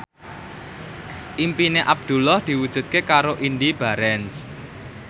impine Abdullah diwujudke karo Indy Barens